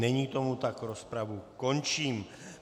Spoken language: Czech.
Není tomu tak, rozpravu končím.